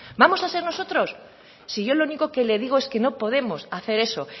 vamos a ser nosotros si yo lo único que le digo es que no podemos hacer eso